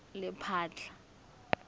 lephatla